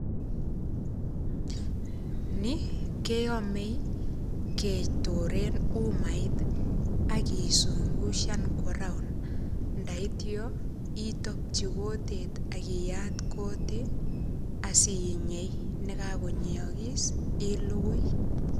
Ni keome ketore en umait ak kisungushan kwo raond ndaityo itokyi kutit ak iyat kutit asinyei nekakonyeogis ilugui.